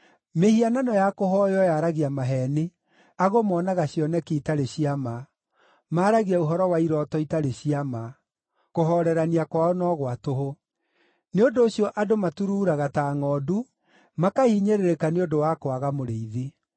Mĩhianano ya kũhooywo yaragia maheeni, ago moonaga cioneki itarĩ cia ma, maaragia ũhoro wa irooto itarĩ cia ma; kũhoorerania kwao no gwa tũhũ. Nĩ ũndũ ũcio andũ maturuuraga ta ngʼondu, makahinyĩrĩrĩka nĩ ũndũ wa kwaga mũrĩithi.